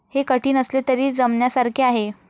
हे कठीण असले तरी जमण्यासारखे आहे.